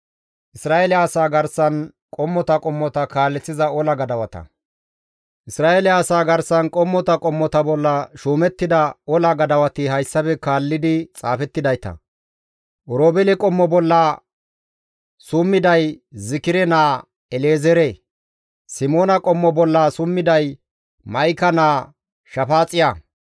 Isra7eele asaa garsan qommota qommota bolla shuumettida ola gadawati hayssafe kaallidi xaafettidayta. Oroobeele qommo bolla summiday Zikire naa El7ezeere. Simoona qommo bolla summiday Ma7ika naa Shafaaxiya.